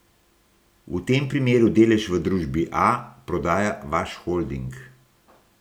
V tem primeru delež v družbi A prodaja vaš holding.